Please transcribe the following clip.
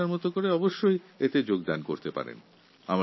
আপনিও আপনার মতো করে এতে অংশগ্রহণ করতে পারেন